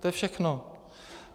To je všechno.